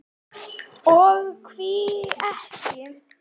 Og því ekki?